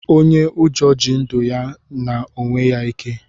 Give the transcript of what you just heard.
Onye ụjọ ji ndụ ya na onye ike